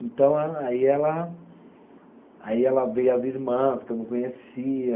Então, aí ela. Aí ela veio as irmã, as que eu não conhecia.